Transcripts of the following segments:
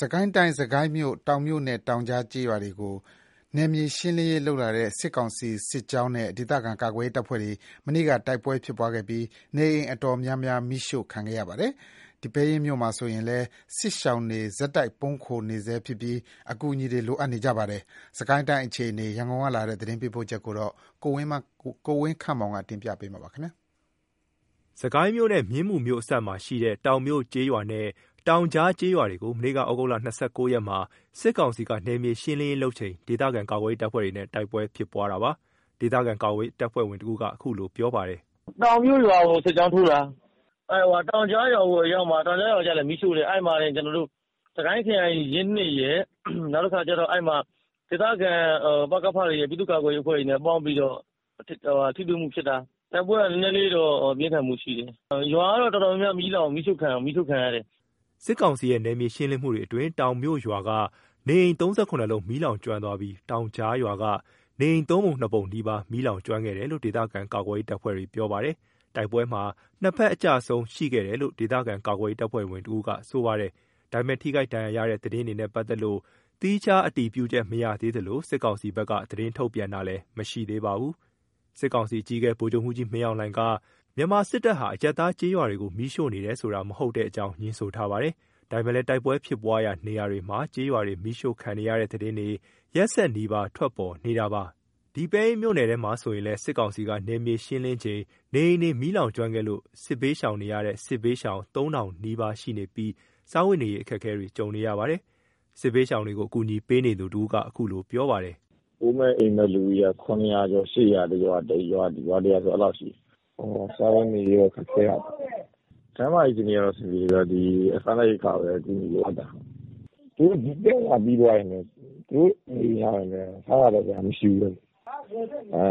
စစ်ကိုင်းတိုင်း စစ်ကိုင်းမြို့ တောင်မြို့နဲ့ တောင်ကြား ကျေးရွာတွေကို နယ်မြေရှင်းလင်းရေးလုပ်လာတဲ့ စစ်ကောင်စီစစ်ကြောင်းနဲ့ ဒေသခံကာကွယ်ရေးတပ်ဖွဲ့တွေ မနေ့က တိုက်ပွဲဖြစ်ခဲ့ပြီး နေအိမ်အတော်များများ မီးရှို့ခံခဲ့ရပါတယ်။ ဒီပဲယင်းမြို့မှာ ဆိုရင်လည်း စစ်ဘေးရှောင်တွေ ဆက်လက် ပုန်းခိုနေဆဲဖြစ်ပြီး အကူအညီ လိုအပ်နေပါတယ်။ စစ်ကိုင်းတိုင်း အခြေအနေ ရန်ကုန်ကလာတဲ့ သတင်းပေးပို့ချက်ကို ကိုဝင်းခန့်မောင်က တင်ပြပေးထားပါတယ်။ စစ်ကိုင်းမြို့နဲ့ မြင်းမူမြို့အစပ်မှာရှိတဲ့ တောင်မြို့ကျေးရွာနဲ့ တောင်ကြားကျေးရွာတွေကို မနေ့က သြဂုတ် ၂၉ ရက်က စစ်ကောင်စီက နယ်မြေရှင်းလင်းရေးလုပ်ချိန် မှာ ဒေသခံကာကွယ်ရေးတပ်ဖွဲ့တွေနဲ့ တိုက်ပွဲဖြစ်ပွားတာပါ။ ဒေသခံကာကွယ်ရေး တပ်ဖွဲ့ဝင်တဦးက အခုလို ပြောပါတယ်။ “တောင်မြို့ရွာကို စစ်ကြောင်းထိုးတာ တောင်ကြားရွာကိုအရောက်မှာ တောင်ကြားရွာကိုလည်း မီးရှို့တယ်။ စစ်ကိုင်းခရိုင် ရင်း ၂ ရယ်၊ ဒေသခံ ပကဖ ပြည်သူ့ ကာကွယ်ရေးအဖွဲ့တွေ ပေါင်းပြီးတော့ ထိတွေ့မှုဖြစ်တာ။ တိုက်ပွဲက နည်းနည်းလေးတော့ ပြင်းထန်မှုရှိတယ်။ ရွာကတော့ တော်တော်များများ မီးရှို့ခံရတယ်။” စစ်ကောင်စီရဲ့ နယ်မြေရှင်းလင်းမှုတွေအတွင်း တောင်မြို့ရွာက နေအိမ် ၃၇ လုံး မီးလောင်ကျွမ်းသွားပြီး တောင်ကြားရွာက နေအိမ် ၃ ပုံ ၂ ပုံနီးပါး မီးလောင်ကျွမ်းခဲ့တယ်လို့ ဒေသခံကာကွယ်ရေး တပ်ဖွဲ့တွေ ပြောပါတယ်။ တိုက်ပွဲမှာ ၂ ဘက် အကျအဆုံး ရှိခဲ့တယ်လို့လည်း ဒေသခံကာကွယ်ရေးတပ်ဖွဲ့ဝင်တဦးက ပြောပါတယ်။ ဒါပေမယ့် ထိခိုက်ဒဏ်ရရာတဲ့သတင်းတွေနဲ့ ပတ်သက်လို့ သီးခြားအတည်ပြုချက် မရသေးသလို စစ်ကောင်စီဘက်က သတင်းထုတ်ပြန်တာလည်း မရှိသေးပါဘူး။ စစ်ကောင်စီအကြီးအကဲ ဗိုလ်ချုပ်မှူးကြီးမင်းအောင်လှိုင်က မြန်မာစစ်တပ်ဟာ အရပ်သားကျေးရွာတွေကို မီးရှို့နေတယ်ဆိုတာ မဟုတ်တဲ့အကြောင်း ငြင်းဆိုထားပါတယ်။ ဒါပေမယ့်လည်း တိုက်ပွဲဖြစ်ပွားရာနေရာတွေမှာ ကျေးရွာတွေ မီးရှို့ခံနေရတဲ့ သတင်းတွေ ရက်ဆက်နီးပါး ထွက်ပေါ်နေပါတယ်။ ဒီပဲယင်းမြို့နယ်ထဲမှာဆိုရင်လည်း စစ်ကောင်စီက နယ်မြေရှင်းလင်းချိန် နေအိမ်တွေ မီးလောင်ကျွမ်းခဲ့လို့ စစ်ဘေးရှောင်နေရတဲ့ စစ်ဘေးရှောင် ၃ ထောင်နီးပါးရှိနေပြီး စားဝတ်နေရေးအခက်အခဲတွေရှိနေပါတယ်။ စစ်ဘေးရှောင်တွေကို ကူညီပေးနေသူတဦးက အခုလိုပြောပါတယ်။ “အိုးမဲ့အိမ်မဲ့လူဦးရေက ၇၀၀ ကျော် ၈၀၀ လောက်ရှိတယ်။ ရွာတရွာကို စားဝတ်နေရေးက ခက်ခဲတယ်။ ကျန်းမာရေးက အဆင်ပြေတယ်။ စားနပ်ရိက္ခာပဲလိုအပ်တာ။ သူတို့က ဒီပြသာနာတွေပြီးသွားရင်လည်း သူတို့နေရပ် ပြန်ရောက်သွားရင် လည်း စားစရာသောက်စရာက မရှိဘူး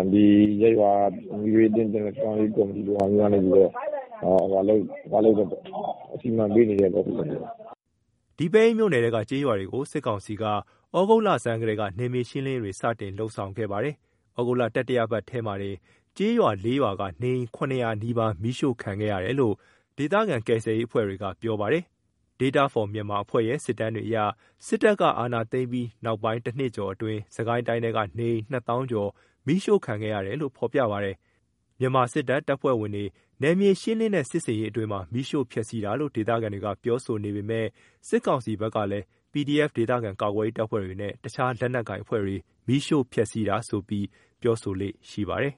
။ ဒီရပ်ရွာက မီးဘေးသင့် ပြန်လည် ထူထောင်ရေး ကော်မတီတို့က အခုလောလောဆယ်တော့ စီမံပေးနေတယ်ပေါ့။” ဒီပဲယင်းမြို့နယ်ထဲက ကျေးရွာတွေကို စစ်ကောင်စီက သြဂုတ်လဆန်းကတည်းက နယ်မြေရှင်းလင်းရေးတွေ စတင်လုပ်ဆောင်ခဲ့ပါတယ်။ သြဂုတ်လ တတိယတပတ်ထဲမှာတင် ကျေးရွာ ၄ ရွာက နေအိမ် ၇၀၀ နီးပါး မီးရှို့ခံရခဲ့ရတယ်လို့ ဒေသခံ ကယ်ဆယ်ရေးအဖွဲ့တွေက ပြောပါတယ်။ Data For Myanmar အဖွဲ့ရဲ့ စစ်တမ်းတွေအရ စစ်တပ်ကအာဏာသိမ်းပြီး နောက်ပိုင်း ၁ နှစ်ကျော်အတွင်း စစ်ကိုင်းတိုင်းထဲက နေအိမ် ၂ သောင်းကျော် မီးရှို့ခံခဲ့ရတယ်လို့ ဖေါ်ပြပါတယ်။ မြန်မာစစ်တပ် တပ်ဖွဲ့ဝင်တွေနယ်မြေရှင်းလင်းတဲ့ စစ်ဆင်ရေးအတွင်းမှာ မီးရှို့ဖျက်ဆီးတာလို့ ဒေသခံတွေက ပြောဆိုနေပေမယ့် စစ်ကောင်စီဘက်ကလည်း PDF ဒေသခံကာကွယ်ရေးတပ်ဖွဲတွေနဲ့ တခြားလက်နက်ကိုင်အဖွဲ့တွေ မီးရှို့ဖျက်ဆီးတာဆိုပြီး ပြောဆိုလေ့ရှိပါတယ်။